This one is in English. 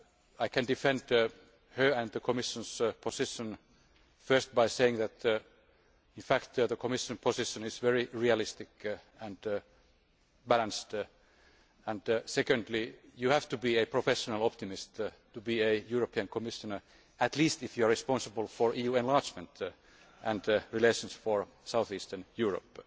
I can defend her and the Commission's position first by saying that, in fact, the Commission position is very realistic and balanced. Secondly, you have to be a professional optimist to be a European Commissioner, at least if you are responsible for EU enlargement and relations for south eastern Europe.